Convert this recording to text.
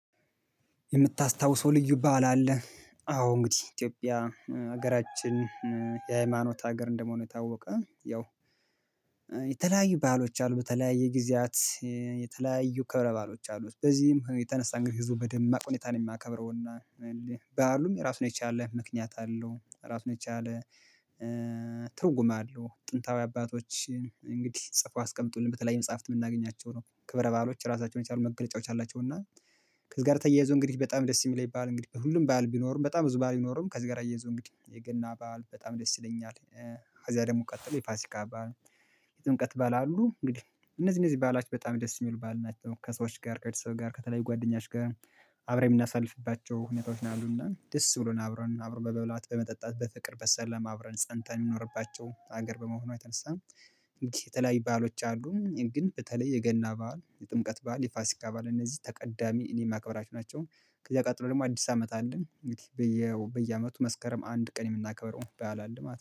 የምታስታውሰው ልዩ ባል አለ አዎ እንግዲህ ኢትዮጵያ ሀገራችን የሃይማኖት ሀገር እንደመሆኑ ታወቀ። ያው የተለያዩ ባሎች አሉ በተለያየ ጊዜያት የተለያዩ ክብረ ባሎች አሉት በዚህም የተነሳ እንግዲህ ህዝቡ የተነሳ በደማቅ ሁኔታ ነው የማከብረው እና ባዓሉም የራሱን የቻለ ምክንያት አለው ራሱን የቻለ ትርጉም አለው። ጥንታዊ አባቶች እንግዲህ ጽፈው ያስቀምጡልን በተለያዩ መጽሐፍት የምናገኛቸው ነው ክብረ ባዕሎች ራሳቸውን የቻሉ መገለጫዎች አላቸው። እና ከዚህ ጋር ተያይዞ እንግዲህ በጣም ደስ የሚለኝ ባእል እንግዲህ ሁሉም ባእል ቢኖርም በጣም ብዙ ባእል ቢኖርም ከዚህ ጋር እያይዞ እንግዲ የገና ባእል በጣም ደስ ይለኛል። ከዛ ደግሞ ቀጥሎ የፋሲካ አባል የጥምቀት ባእል አሉ እንግዲህ እነዚህ እነዚህ ባዕላት በጣም ደስ የሚሉ ባእል ናቸው። ከሰዎች ጋር ከቤተሰብ ጋር ከተለያዩ ጓደኞች ጋር አብረን የምናሳልፍባቸው ሁኔታዎች ነው ያሉና ደስ ብሎን አብረን በመብላት በመጠጣት በፍቅር በሰለማ አብረን ፀንተን እምንኖርባቸው ሀገር በመሆኖ የተነሳ የተለያዩ ባዕሎች አሉ። ግን በተለይ የገና በዓል የጥምቀት በዓል የፋሲካ በዓል እነዚህ ተቀዳሚ እኔ የማከብራቸው ናቸው። ከዛ ቀጥሎ ደግሞ አዲስ አመት አለ እንግዲህ በየ በየአመቱ መስከረም አንድ ቀን የምናከበረው ባእል አለ ማለት ነው